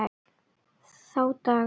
Þá daga